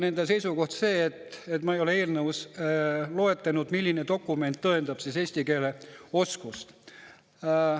Nende seisukoht oli ka see, et ma ei ole eelnõus loetlenud, milline dokument tõendab eesti keele oskust.